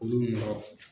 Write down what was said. Olu ma